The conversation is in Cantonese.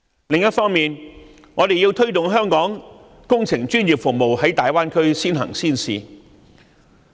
此外，我們要推動香港工程專業服務在大灣區先行先試。